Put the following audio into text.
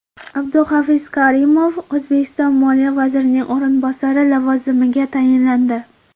Abduhafiz Karimov O‘zbekiston moliya vazirining o‘rinbosari lavozimiga tayinlandi.